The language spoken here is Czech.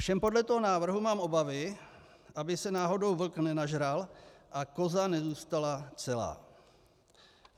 Ovšem podle toho návrhu mám obavy, aby se náhodou vlk nenažral a koza nezůstala celá.